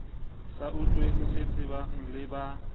sa utlweng ditsebeng le ba